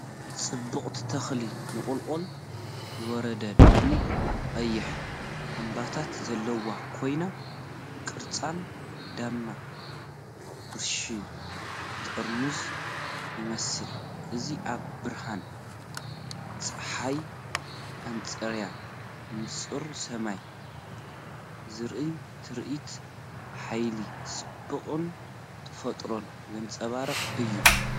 ጽብቕቲ ተኽሊ ንቑልቁል ዝወረደ ድሙቕ ቀይሕ ዕምባባታት ዘለዎ ኮይኑ ቅርጾም ድማ ብራሽ ጥርሙዝ ይመስል። እዚ ኣብ ብርሃን ጸሓይ ኣንጻር ንጹር ሰማይ ዝርአ ትርኢት፡ ሓይልን ጽባቐን ተፈጥሮ ዘንጸባርቕ እዩ።